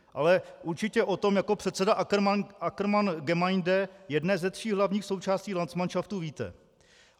Ale určitě o tom jako předseda Ackermann-Gemeinde, jedné ze tří hlavních součástí landsmanšaftu, víte.